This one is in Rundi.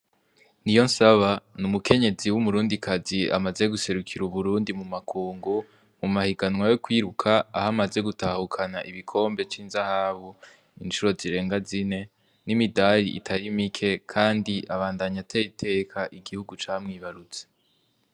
Niyonsaba ni umukenyezi w'umurundikazi amaze guserukira uburundi mu makungu, mu mahiganwa yo kwiruka, aho amaze gutahukana igikombe c'inzahabu incuro zirenga zine n'imidari itari mike. Kandi abandanya atera iteka igihugu camwibarutse.